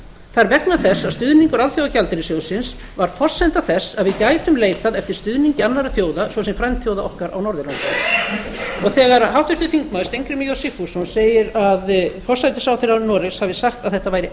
er vegna þess að stuðningur alþjóðagjaldeyrissjóðsins var forsenda þess að við gætum leitað eftir stuðningi annarra þjóða svo sem frændþjóða okkar á norðurlöndum þegar háttvirtur þingmaður steingrímur j sigfússon segir að forsætisráðherra noregs hafi sagt að þetta væri